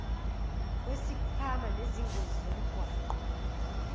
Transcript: lwesikhwama sezingozi zomgwaqo